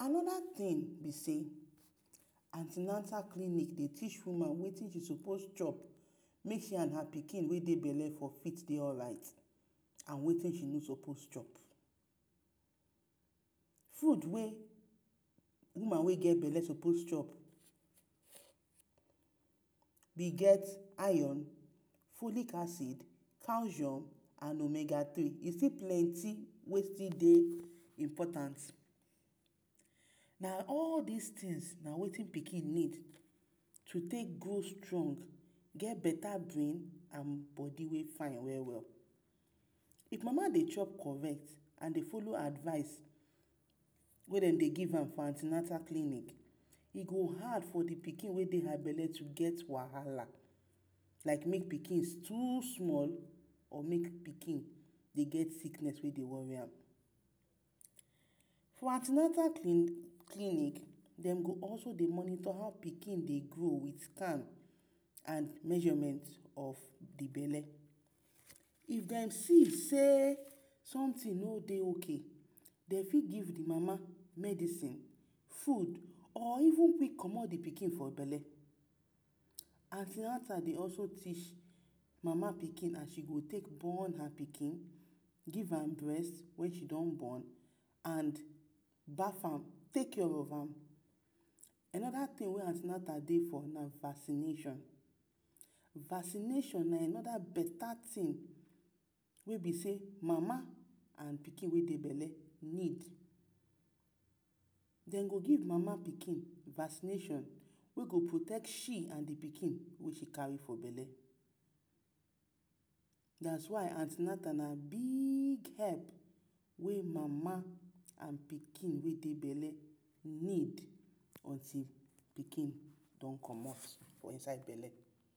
Anoda tin be sey, anti-natal clinic dey teach woman wetin she sopos chop make she and her pikin wey dey bele for fit dey alright. And wetin she no sopos chop. Fud wey woman wey get bele sopos chop: e get iron, folic acid, calcium and omega three. E still plenty wetin dey important. Na all dis tins na wetin pikin need to take dey strong, get beta brain and bodi wey fine we-we. If mama dey chop correct and dey folo advice, wey dem dey give am for anti-natal clinic, e go hard for the pikin wey dey bele to get wahala like make pikin too small or like make pikin get sikness wey dey wori am. For anti-natal clinic, dem go also dey monitor how pikin dey grow with time and measurement of the bele. If dem see sey somtin no dey ok, de fit give the mama medicine, fud or even fit comot the pikin for bele. Anti-natal dey also teach mama pikin how she go take born her pikin, give am brest wen she don bon and baf am, take care of am. Anoda tin wey anti-natal dey na vaccination, vaccination na anoda beta tin wey be sey mama and e pikin wey dey bele need. Dem go give mama pikin vaccination wey go protect she and the pikin wey she kari for bele. Dat is why anti-natal na big help wey mama and pikin wey dey bele need until pikin don comot for inside bele.